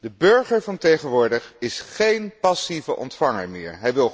De burger van tegenwoordig is geen passieve ontvanger meer.